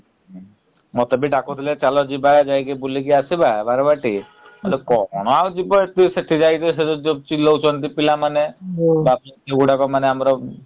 ମତେ ବି ଡାକୁଥିଲେ ଚାଲ ଯିବା ଯାଇକି ବୁଲିକି ଆସିବା ବାରବାଟୀ । କଣ ଆଉ ଯିବ ସେଠି ଯାଇକି ଚିଲଉଛନ୍ତି ପିଲାମାନେ ଯଉ ଗୁଡାକ ମାନେ ଆମର ।